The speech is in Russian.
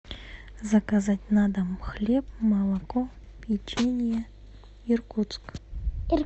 заказать на дом хлеб молоко печенье иркутск